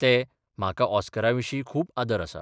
तेंः म्हाका ऑस्करा विशीं खूब आदर आसा.